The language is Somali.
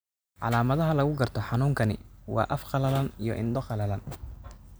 Calaamadaha lagu garto xanuunkani waa af qalalan iyo indho qalalan.